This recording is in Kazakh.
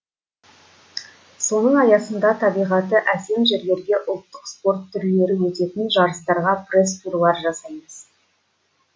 соның аясында табиғаты әсем жерлерге ұлттық спорт түрлері өтетін жарыстарға пресс турлар жасаймыз